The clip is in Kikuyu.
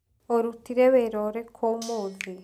ũrutire wĩra ũrĩkũ ũmũthĩ?